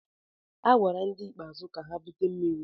A gwara ndị bịara ikpeazụ ka ha bute mmiri.